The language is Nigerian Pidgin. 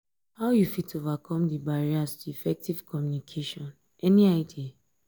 how you fit overcome di barriers to effective communication any idea?